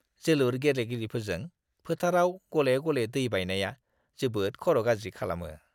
जोलुर गेलेगिरिफोरजों फोथारआव गले-गले दैबायनाया जोबोद खर' गाज्रि खालामो!